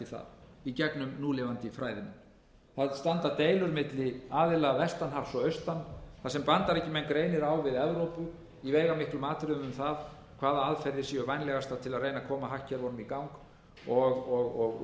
það í gegnum núlifandi fræðimenn það standa deilur milli aðila vestan hafs og austan þar sem bandaríkjamenn greinir á við evrópu í veigamiklum atriðum um það hvaða aðferðir séu vænlegastar til að reyna að koma hagkerfunum í gang og